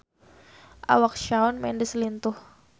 Awak Shawn Mendes lintuh